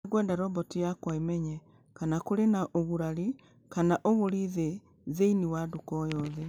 Nĩ ngwenda robot yakwa ĩmenye kana kũrĩ na ũgurari kana ũgũri thĩ thĩinĩ wa nduka o yothe